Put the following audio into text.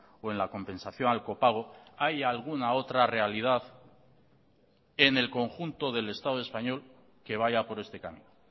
o en la compensación al copago hay alguna otra realidad en el conjunto del estado español que vaya por este camino